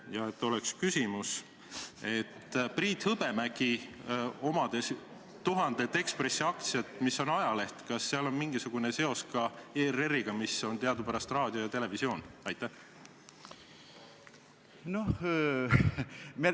Ja et oleks ka küsimus: Priit Hõbemägi omab tuhandet Eesti Ekspressi aktsiat, mis on ajaleht – kas sel on mingisugune seos ka ERR-iga, mis puudutab teadupärast raadiot ja televisiooni?